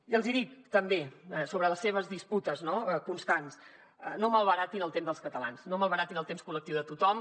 i els hi dic també sobre les seves disputes no constants no malbaratin el temps dels catalans no malbaratin el temps col·lectiu de tothom